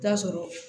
Taa sɔrɔ